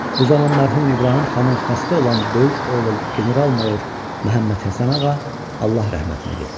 Bu zaman mərhum İbrahim xanın xəstə olan böyük oğlu general-mayor Məhəmməd Həsənağa Allah rəhmətinə getdi.